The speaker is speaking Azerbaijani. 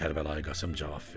Kərbəlayı Qasım cavab verdi.